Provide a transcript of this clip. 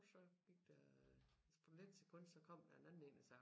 Så gik der et splitsekund så kom der en anden én og sagde